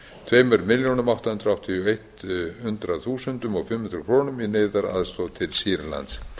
tveimur milljónum átta hundruð áttatíu og einu þúsundi og fimm hundruð krónum í neyðaraðstoð til sýrlands